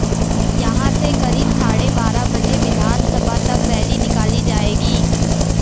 यहां से करीब साढ़े बारह बजे विधानसभा तक रैली निकाली जाएगी